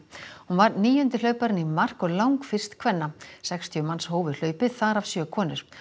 hún var níundi hlauparinn í mark og langfyrst kvenna sextíu manns hófu hlaupið þar af sjö konur